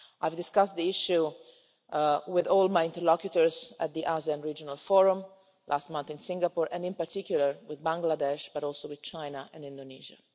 I discussed the issue with all my interlocutors at the ASEAN regional forum last month in Singapore, in particular with Bangladesh and also with China and Indonesia.